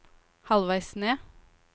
halvveis ned